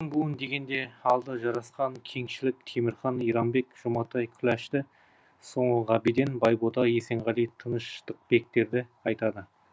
буын дегенде алды жарасқан кеңшілік темірхан иранбек жұматай күләшті соңы ғабиден байбота есенғали тыныштықбектерді айтады